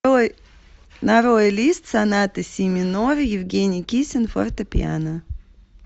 нарой лист соната си минор евгений кисин фортепиано